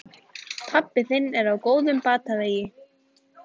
Pabbi þinn er á góðum batavegi.